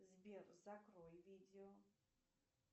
сбер закрой видео